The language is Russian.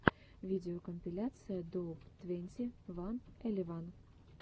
видеокомпиляция доуп твенти ван элеван